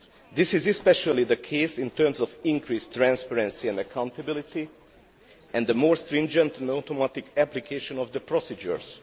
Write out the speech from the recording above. This is especially the case in terms of increased transparency and accountability and the more stringent and automatic application of the procedures.